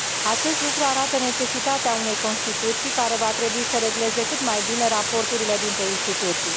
Acest lucru arată necesitatea unei Constituții care va trebui să regleze cât mai bine raporturile dintre instituții.